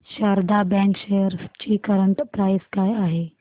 Sharda bank shares ची current price काय आहे